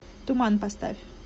туман поставь